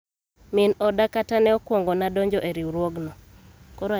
min oda kata ne okuongona donjo e riwruogno